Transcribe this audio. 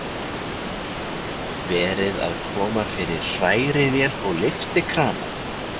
Verið að koma fyrir hrærivél og lyftikrana.